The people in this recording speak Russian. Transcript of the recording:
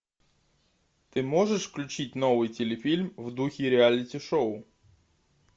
ты можешь включить новый телефильм в духе реалити шоу